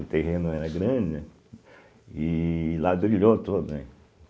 O terreno era grande, né e ladrilhou todo, né.